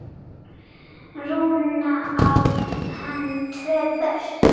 Rúnar, á hann tvö börn.